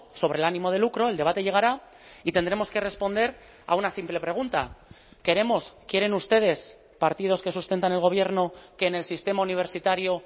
sobre el ánimo de lucro el debate llegará y tendremos que responder a una simple pregunta queremos quieren ustedes partidos que sustentan el gobierno que en el sistema universitario